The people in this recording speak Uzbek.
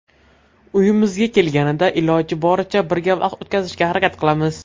Uyimizga kelganida iloji boricha birga vaqt o‘tkazishga harakat qilamiz.